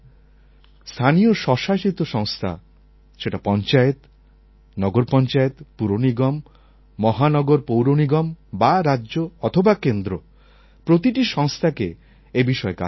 স্থানীয় স্বশাসিত সংস্থা সেটা পঞ্চায়েত নগর পঞ্চায়েত পুর নিগম মহানগর পৌর নিগম বা রাজ্য অথবা কেন্দ্র প্রতিটি সংস্থাকে এই বিষয়ে কাজ করতে হবে